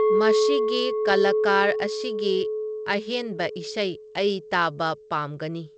ꯃꯁꯤꯒꯤ ꯀꯂꯥꯀꯔ ꯑꯁꯤꯒꯤ ꯑꯍꯦꯟꯕ ꯏꯁꯩ ꯑꯩ ꯇꯥꯕ ꯄꯥꯝꯒꯅꯤ